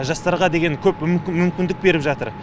жастарға көп мүмкіндік беріп жатыр